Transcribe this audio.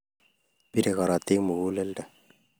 Bire korotik muguleldo